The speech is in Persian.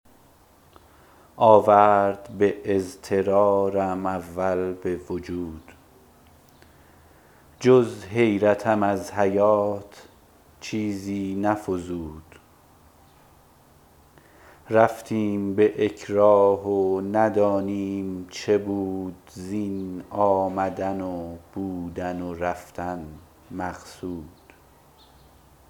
آورد به اضطرارم اول به وجود جز حیرتم از حیات چیزی نفزود رفتیم به اکراه و ندانیم چه بود زین آمدن و بودن و رفتن مقصود